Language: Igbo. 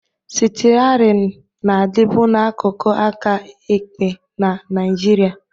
Stiarịn na-adịbu n'akụkụ aka ekpe na Nigeria